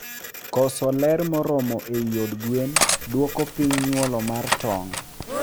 Koso ler moromo eiy od gwenn duoko piny nyuolo mar tong